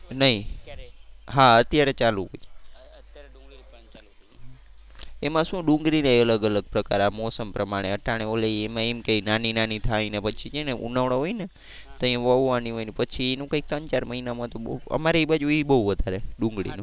એમાં શું ડુંગળી ના અલગ અલગ પ્રકાર આ મોસમ પ્રમાણે અટાણે ઓલી એમાં એમ કે નાની નાની થાય ને પછી છે ને ઉનાળો હોય ને તએ વાવવાની હોય ને પછી એનું કઈ ત્રણ ચાર મહિના માં તો બહુ અમારે એ બાજુ એ બહુ વધારે ડુંગળી નું.